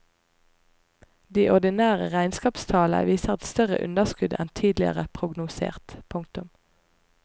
De ordinære regnskapstallene viser et større underskudd enn tidligere prognosert. punktum